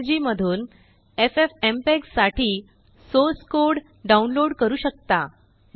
httpffmpegorg मधूनffmpeg साठीसोर्स code download करू शकता